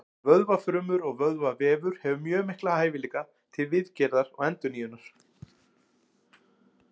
Vöðvafrumur og vöðvavefur hefur mjög mikla hæfileika til viðgerða og endurnýjunar.